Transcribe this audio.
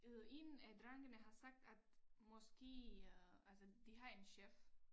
Øh 1 af drengene har sagt at måske øh altså de har en chef